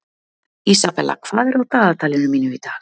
Isabella, hvað er á dagatalinu mínu í dag?